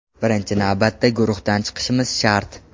Birinchi navbatda guruhdan chiqishimiz shart.